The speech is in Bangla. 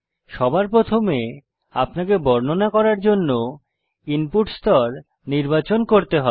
সবার প্রথমে আপনাকে বর্ণনা করার জন্য ইনপুট স্তর নির্বাচন করতে হবে